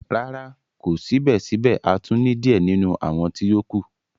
Rara, ko sibẹsibẹ a tun ni diẹ ninu awọn ti o kù.